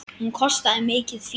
Hún kostaði mikið fé.